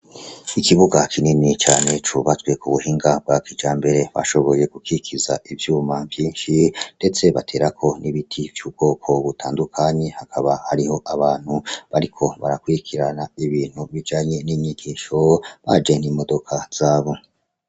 Ikibuga kinini cane cubatswe ku buhinga bwa kijambere bashoboye gukikiza ivyuma vyinshi, detse baterako n’ibiti vy’ubwoko butandukanye. Hakaba hariho abantu bariko barakurikirana ibintu bijanye n’inyigisho, baje n'imiduga zabo.